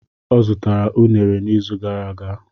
Ọ zụtara unere n'izu gara aga.